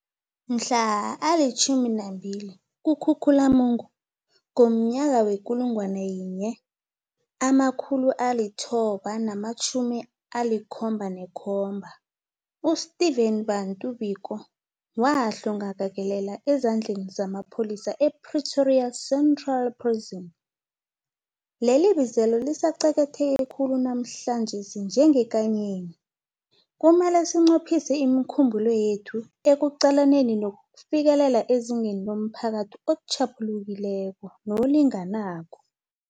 Mhla ali-12 kuKhukhulamungu ngomnyaka we-1977, u-Steven Bantu Biko wahlongakalela ezandleni zamapholisa e-Pretoria Central Prison. Lelibizelo lisaqakatheke khulu namhlanjesi njengekanyeni. Kumele sinqophise imikhumbulo yethu ekuqalaneni nokufikelela izinga lomphakathi otjhaphulukileko nolinganako.